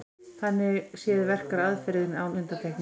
Þannig séð verkar aðferðin án undantekningar.